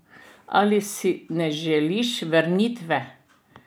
Ali si ne želiš vrniti?